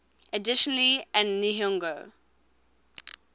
additionally an nihongo